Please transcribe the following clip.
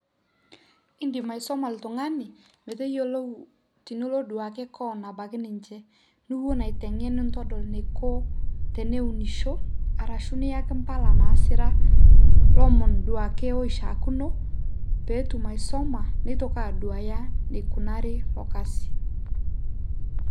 Indim aisuma oltung'ani metayiolou tenitaduaki keon ebaiki ninche nipuo naa aiteng'en nintodol eniko teneunisho arashu niyaki mpala naasira ilomon duake oitaakuno pee etum aisuma nitoki aduaya enikunari ilo kasi.